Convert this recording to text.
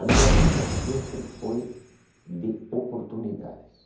A minha vida sempre foi de oportunidades.